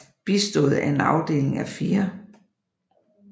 Bistået af en afdeling af 4